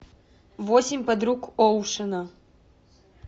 восемь подруг оушена